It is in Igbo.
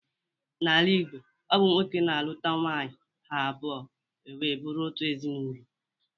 N'ala Igbo, ọ bụ nwoke na-alụta nwaanyị ha abụọ e wee bụrụ otu ezinaụlọ.